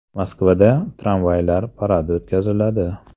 Moskvada tramvaylar paradi o‘tkaziladi.